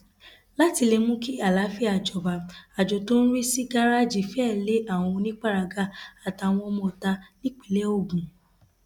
láti lè mú kí àlàáfíà jọba àjọ tó ń rí sí gàrẹẹjì fẹẹ lé àwọn oníparagà àtàwọn ọmọọta nípínlẹ ogun